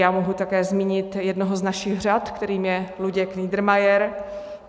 Já mohu také zmínit jednoho z našich řad, kterým je Luděk Niedermayer.